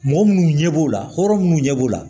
Mɔgɔ minnu ɲɛ b'o la hɔrɔn minnu ɲɛ b'o la